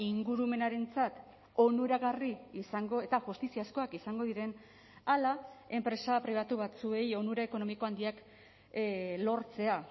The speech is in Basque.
ingurumenarentzat onuragarri izango eta justiziazkoak izango diren ala enpresa pribatu batzuei onura ekonomiko handiak lortzea